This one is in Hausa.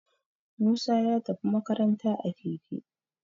Musa ya tafi makaranta a Keke